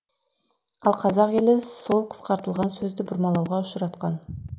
ал қазақ елі сол қысқартылған сөзді бұрмалауға ұшыратқан